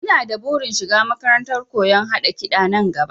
Ina da burin shiga makarantar koyon haɗa kiɗa nan gaba